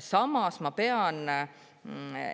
Samas pean ma